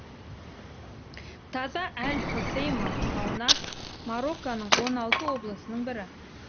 таза әл хосейма таунат марокконың он алты облысының бірі